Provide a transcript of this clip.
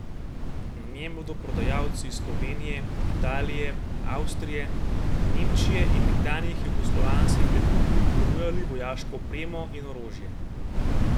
Na njem bodo prodajalci iz Slovenije, Italije, Avstrije, Nemčije in nekdanjih jugoslovanskih republik ponujali vojaško opremo in orožje.